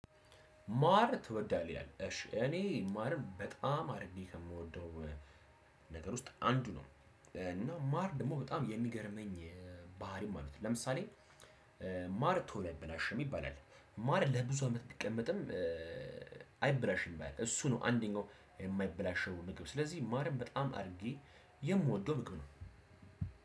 ማር ትወዳለህ ይላል እሺ እኔ ማርን በጣም አርጌ ነው የምወደው። ነገር ውስጥ አንዱ ነው። እና ማር ደግሞ በጣም የሚገርመኝ ባህሪም አሉት። ለምሳሌ። ማር ቶሎ አይበላሽም ይባላል። ማር ለብዙ አመት ቢቀመጥም። አይበላሽም እሱ ነው አንደኛው የማይበላሸው ምግብ። ስለዚህ ማርም በጣም አድርጌ የምወደው ምግብ ነው።